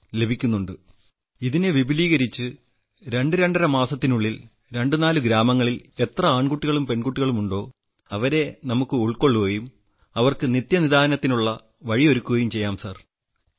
ഇപ്പോൾ ഞാൻ അടുത്ത ഒന്നോ രണ്ടോ മാസത്തിനുള്ളിൽ ഇതിനെ വിപുലീകരിച്ച് രണ്ട് രണ്ടര മാസത്തിനുള്ളിൽ രണ്ട് നാല് ഗ്രാമങ്ങളിൽ എത്രയെത്ര ആൺകുട്ടികളും പെൺകുട്ടികളുമുണ്ടോ അവരെ നമ്മളുൾക്കൊള്ളുകയും അവർക്ക് നിത്യനിദാനത്തിനുള്ള വഴിയൊരുക്കുകയും ചെയ്യും സർ